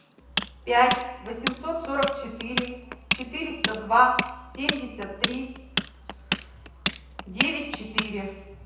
пять восемьсот сорок четыре четыреста два семьдесят три девять четыре